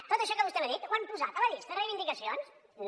tot això que vostè m’ha dit ho han posat a la llista de reivindicacions no